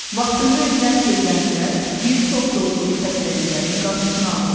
Vaxtında edilən peyvəndlər bir çox yoluxucu xəstəliklərin qarşısını alır.